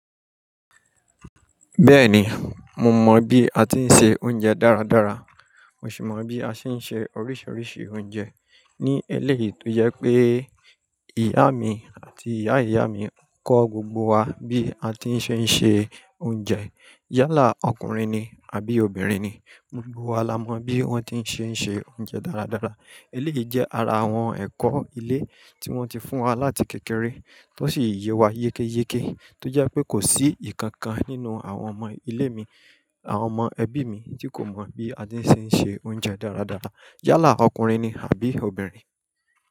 Bẹ́ẹ̀ni, mo mọ̀ bí a ti ń se oúnjẹ dáradára. Mo sì mọ̀ bí a ṣe ń se oríṣiríṣi oúnjẹ ní eléyìí tó jẹ́ pé ìyá mi àti ìyá ìyá mi kọ́ gbogbo wa bí a ti ń ṣe ń se oúnjẹ. Yálà ọkùnrin ni àbí obìnrin ni, gbogbo wa la mọ̀ bí wón ti ń ṣe ń se oúnjẹ dáradára. Eléyìí jẹ́ ara àwọn ẹ̀kọ́ ilé tí wọ́n ti fún wa láti kékeré tó sì yé wa yékéyéké tó jẹ́ pé kò sí ìkankan nínú àwọn ọmọ ilé mi àwọn ọmọ ẹbí mi tí kò mọ̀ bí a ti ń ṣe ń se oúnjẹ dáradára. Yálà ọkùnrin ni àbí obìnrin.